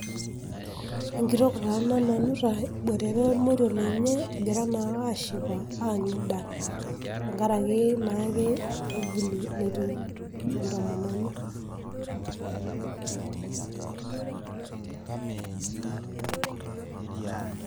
Enkitok taa ena, nanu taa eboitare ormoruo lenye egira naa ashipa aang'ida tengaraki naa edolita entiu entomononi.